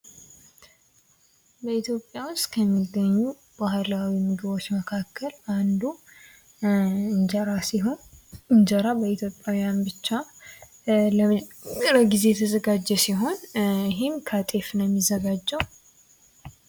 በኢትዮጵያ ውስጥ ከሚገኙ ባህላዊ ምግቦች መካከል አንዱ እንጀራ ሲሆን እንጀራ በኢትዮጵያ ብቻ ለመጀመሪያ ጊዜ ተዘጋጀ ሲሆን ይህም ከጤፍ ነው የሚዘጋጀው።